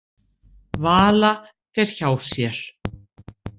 Vala fer hjá sér.